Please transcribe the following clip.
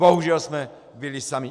Bohužel jsme byli sami.